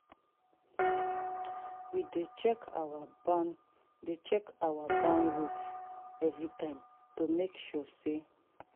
we dey check our dey check our barn roof every time to make sure sa